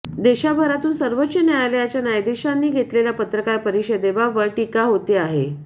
देशभरातून सर्वोच्च न्यायालयाच्या न्यायाधीशांनी घेतलेल्या पत्रकार परिषदेबाबत टीका होते आहे